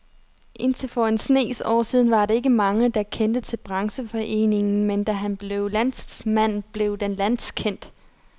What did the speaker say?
Indtil for en snes år siden var der ikke mange, der kendte til brancheforeningen, men da han blev landsformand, blev den landskendt.